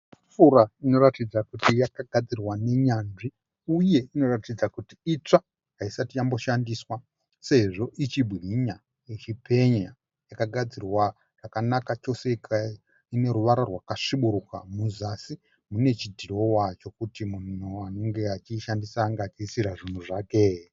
Tafura inoratidza kuti yakagadzirwa nenyanzvi uye inoratidza kuti itsva haisati yamboshandiswa sezvo ichibwinya ichipenya . Yakagadzirwa zvakanaka chose ineruvara rwakasvibiruka kuzasi kune chidhirowa chekuti munhu anenge achiishandisa anenge achiisira zvinhu zvake.